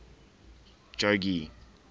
jogee